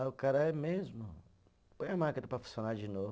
Aí o cara é mesmo, põe a máquina para funcionar de novo.